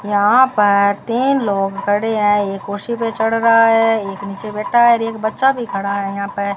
यहां पर तीन लोग खड़े हैं एक कुर्सी पर चढ़ रहा है एक नीचे बैठा है एक बच्चा भी खड़ा है यहां पे।